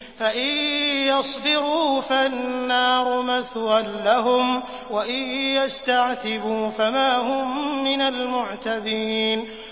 فَإِن يَصْبِرُوا فَالنَّارُ مَثْوًى لَّهُمْ ۖ وَإِن يَسْتَعْتِبُوا فَمَا هُم مِّنَ الْمُعْتَبِينَ